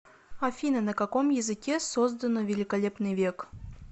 афина на каком языке создано великолепный век